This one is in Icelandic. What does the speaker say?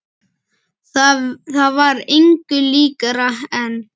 Það var engu líkara en